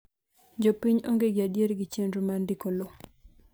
jipiny onge gi adier gi chenro mar ndiko lowo